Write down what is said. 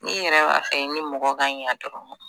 Ne yɛrɛ b'a fɛ ni mɔgɔ ka ɲɛ dɔrɔn